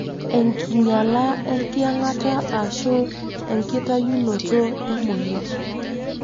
Enkinyala ,eyangata ashu enkitayunoto emonyua.